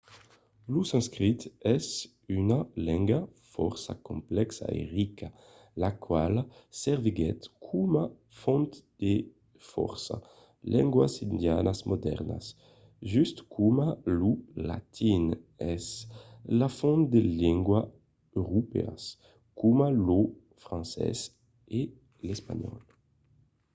lo sanscrit es una lenga fòrça complèxa e rica la quala serviguèt coma font de fòrça lengas indianas modèrnas just coma lo latin es la font de lengas europèas coma lo francés e l’espanhòl